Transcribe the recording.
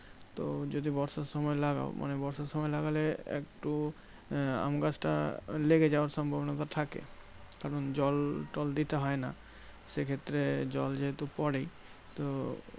তো যদি বর্ষার সময় লাগাও মানে বর্ষার সময় লাগালে একটু আমগাছটা লেগে যাওয়ার সম্ভবনাটা থাকে। কারণ জল টল দিতে হয় না। সেক্ষেত্রে জল যেহেতু পরেই তো